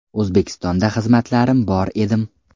O‘zbekistonda xizmatlarim bor edim.